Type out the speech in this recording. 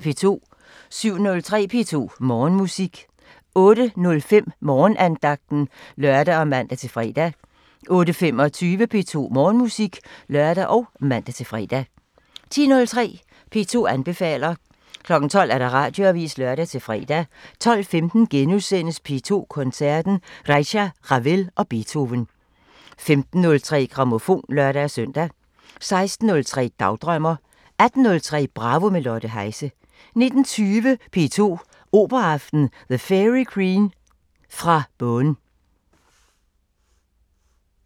07:03: P2 Morgenmusik 08:05: Morgenandagten (lør og man-fre) 08:25: P2 Morgenmusik (lør og man-fre) 10:03: P2 anbefaler 12:00: Radioavisen (lør-fre) 12:15: P2 Koncerten – Reicha, Ravel & Beethoven * 15:03: Grammofon (lør-søn) 16:03: Dagdrømmer 18:03: Bravo – med Lotte Heise 19:20: P2 Operaaften – The Fairy Queen fra Beaune